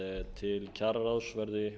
til kjararáðs verði